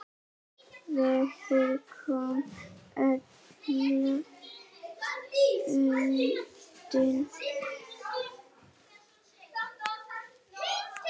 Vegir koma illa undan vetri.